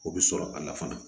O bɛ sɔrɔ a la fana